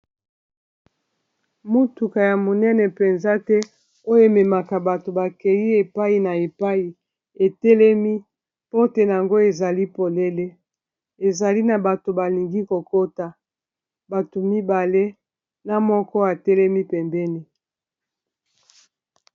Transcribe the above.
motuka ya monene mpenza te oyo ememaka bato bakei epai na epai etelemi pote yango ezali polele ezali na bato balingi kokota bato mibale na moko etelemi pembeni